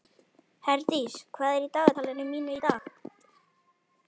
Heiðdís, hvað er í dagatalinu mínu í dag?